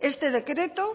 este decreto